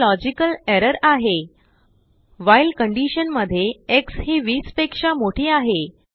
हाlogical error आहे whileकंडीशनमध्येxहि20पेक्षामोठी आहे